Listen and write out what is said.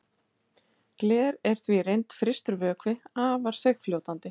Gler er því í reynd frystur vökvi, afar seigfljótandi.